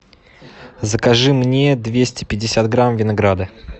закажи мне двести пятьдесят грамм винограда